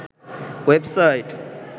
web site